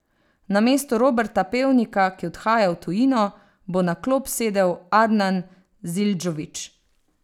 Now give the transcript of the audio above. Namesto Roberta Pevnika, ki odhaja v tujino, bo na klop sedel Adnan Zildžović.